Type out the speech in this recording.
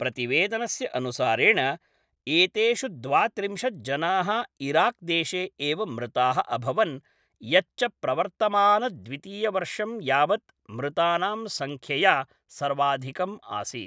प्रतिवेदनस्य अनुसारेण एतेषु द्वात्रिंशत् जनाः इराक्देशे एव मृताः अभवन्, यच्च प्रवर्तमानद्वितीयवर्षं यावत् मृतानां सङ्ख्यया सर्वाधिकम् आसीत्।